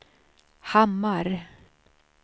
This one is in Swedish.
Hammar